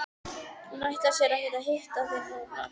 Hún ætlar sér ekki að hitta þig núna.